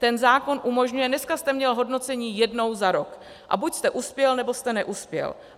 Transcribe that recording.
Ten zákon umožňuje - dneska jste měl hodnocení jednou za rok a buď jste uspěl, nebo jste neuspěl.